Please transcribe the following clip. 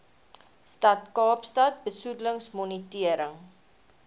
stad kaapstad besoedelingsmonitering